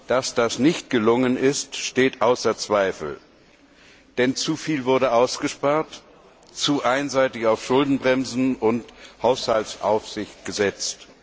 Dass das nicht gelungen ist, steht außer Zweifel, denn zuviel wurde ausgespart, zu einseitig auf Schuldenbremsen und Haushaltsaufsicht gesetzt.